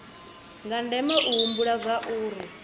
zwa ndeme u humbula zwauri